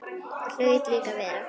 Það hlaut líka að vera.